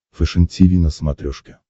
фэшен тиви на смотрешке